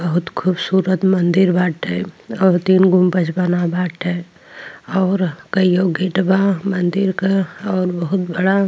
बहोत खूबसुरत मंदिर बाटे और तीन गो बना बाटे और कईओ गेट बा मंदिर क और बहोत बड़ा --